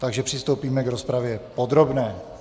Takže přistoupíme k rozpravě podrobné.